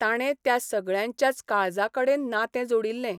ताणे त्या सगळ्यांच्याच काळजाकडेन नातें जोड़िल्लें.